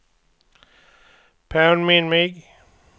påminn mig